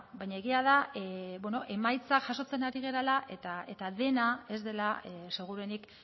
baina egia da emaitzak jasotzen ari garela eta dena ez dela seguruenik